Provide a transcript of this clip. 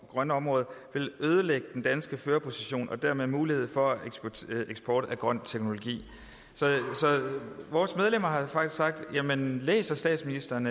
grønne område vil ødelægge den danske førerposition og dermed muligheden for eksport af grøn teknologi så vores medlemmer har faktisk sagt læser statsministeren